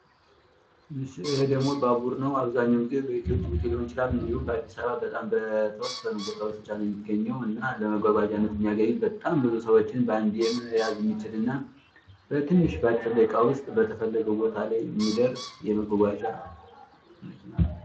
ይሄ ደሞ ባቡር ነው አብዛኛውን ጊዜ በኢትዮ ጅቡቲ ሊሆን ይችላል እንዲሁም በአዲስ አበባ በጣም በተወሰኑ ቦታዎች ብቻ ነው የሚገኘው። እና ለመጓጓዣነት የሚያገለግል በጣም ብዙ ሰዎችን ባንዴ መያዝ የሚችልና በትንሽ ባጭር ደቂቃ ውስጥ በተፈለገው ቦታ ላይ የሚደርስ የመጓጓዣ መኪና ነው።